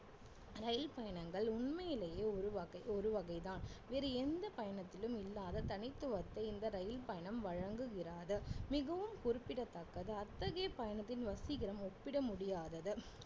ரயில் பயணங்கள் உண்மையிலேயே ஒரு வகை ஒரு வகைதான் வேறு எந்த பயணத்திலும் இல்லாத தனித்துவத்தை இந்த ரயில் பயணம் வழங்குகிறது மிகவும் குறிப்பிடத்தக்கது அத்தகைய பயணத்தின் வசீகரம் ஒப்பிட முடியாதது